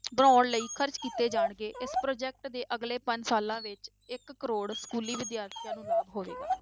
ਬਣਾਉਣ ਲਈ ਖ਼ਰਚ ਕੀਤੇ ਜਾਣਗੇ, ਇਸ project ਦੇ ਅਗਲੇ ਪੰਜ ਸਾਲਾਂ ਵਿੱਚ ਇੱਕ ਕਰੌੜ ਸਕੂਲੀ ਵਿਦਿਆਰਥੀਆਂ ਨੂੰ ਲਾਭ ਹੋਵੇਗਾ